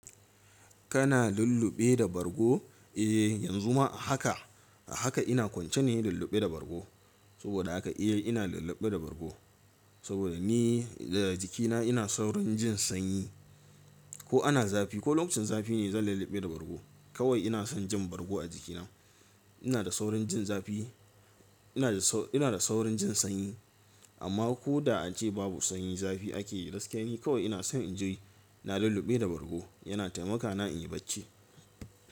Kana lulluɓe da bargo? Eh, yanzu ma a haka, a haka ina kwance ne lulluɓe da bargo. Saboda haka A ina lulluɓe da bargo. Saboda ni da jikina ina saurin jin sanyi. Ko ana zafi ko lokacin zafi ne zan lulluɓe da bargo. Kawai ina son jin bargo a jikina. Ina da saurin jin zafi, ina da saurin jin sanyi. Amma ko da an ce babu sanyi zafi ake yi, gaskiya ni kawai ina son in ji ina lulluɓe da bargo, yana taimaka na in yi bacci.